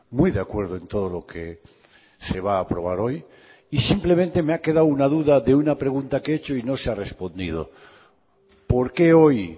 muy de acuerdo en todo lo que se va a aprobar hoy y simplemente me ha quedado una duda de una pregunta que he hecho y no se ha respondido por qué hoy